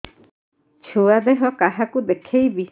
ଛୁଆ ଦେହ କାହାକୁ ଦେଖେଇବି